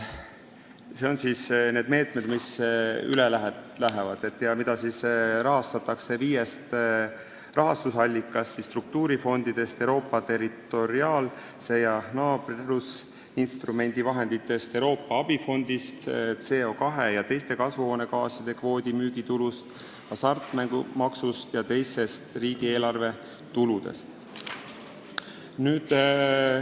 Need on need meetmed, mis üle lähevad ja mida rahastatakse viiest rahastusallikast: struktuurifondidest, Euroopa territoriaalse koostöö ja naabrusinstrumendi vahenditest, Euroopa abifondist, CO2 ja teiste kasvuhoonegaaside kvootide müügitulust, hasartmängumaksust ja teistest riigieelarve tuludest.